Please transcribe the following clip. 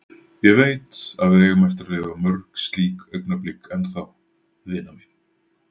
Ég veit, að við eigum eftir að lifa mörg slík augnablik enn þá, vina mín.